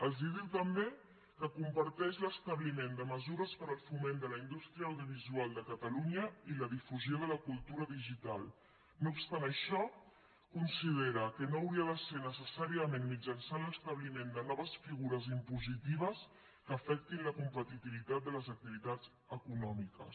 els diu també que comparteix l’establiment de mesures per al foment de la indústria audiovisual de catalunya i la difusió de la cultura digital no obstant això considera que no hauria de ser necessàriament mitjançant l’establiment de noves figures impositives que afectin la competitivitat de les activitats econòmiques